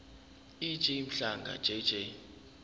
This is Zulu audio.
ej mhlanga jj